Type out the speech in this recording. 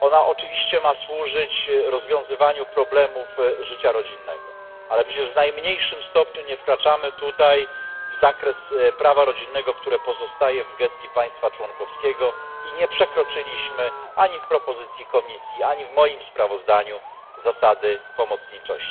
ma oczywiście służyć rozwiązywaniu problemów życia rodzinnego, ale przecież w najmniejszym stopniu nie wkraczamy tutaj w zakres prawa rodzinnego, które pozostaje w gestii państwa członkowskiego, i nie przekroczyliśmy ani w propozycji Komisji, ani w moim sprawozdaniu zasady pomocniczości.